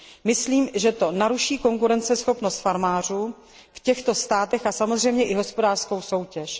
Myslím, že to naruší konkurenceschopnost farmářů v těchto státech a samozřejmě i hospodářskou soutěž.